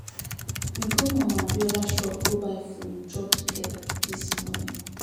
We go Mama Abiola shop go buy food together chop dis morning.